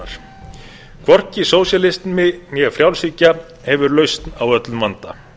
framsóknarstefnunnar hvorki sósíalismi né frjálshyggja hefur lausn á öllum vanda